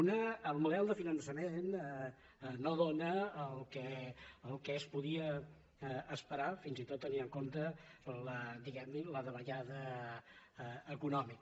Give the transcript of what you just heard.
una el model de finançament no dóna el que es podia esperar fins i tot tenint en compte la diguem ne davallada econòmica